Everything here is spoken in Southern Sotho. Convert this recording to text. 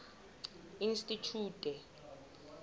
institjhute